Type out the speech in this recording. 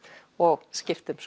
og skiptum